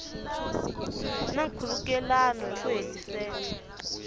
na nkhulukelano hi ku hetiseka